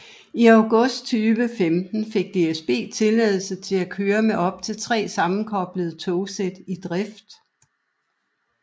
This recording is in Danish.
I august 2015 fik DSB tilladelse til at køre med op til 3 sammenkoblede togsæt i drift